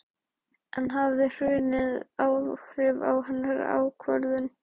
En hafði hrunið áhrif á hennar ákvörðun?